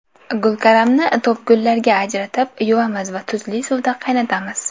Gulkaramni to‘pgullarga ajratib, yuvamiz va tuzli suvda qaynatamiz.